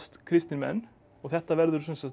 kristnir menn og þetta verður